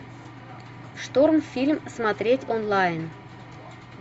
шторм фильм смотреть онлайн